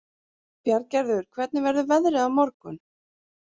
Bjarngerður, hvernig verður veðrið á morgun?